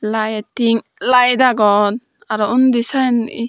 light tim light agon aro undi sieni.